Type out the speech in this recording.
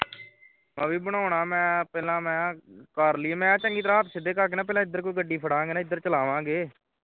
ਆਹ ਵੀ ਬਣਾਉਣਾ ਹੈ ਪਹਿਲਾਂ ਮੈਂ ਕਰ ਲਈਏ ਮੈਂ ਕਿਹਾ ਚੰਗੀ ਤਰ੍ਹਾਂ ਹੱਥ ਸਿੱਧੇ ਕਰ ਕੇ ਪਹਿਲੇ ਏਧਰ ਕੋਈ ਗੱਡੀ ਫੜਾਂਗੇ ਨਾ ਏਧਰ ਕੋਈ ਚਲਾਵਾਂਗੇ ਨਾ